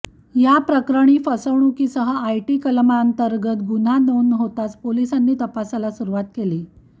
याप्रकरणी फसवणुकीसह आयटी कलमांतर्गत गुन्हा नोंद होताच पोलिसांनी तपासाला सुरुवात केली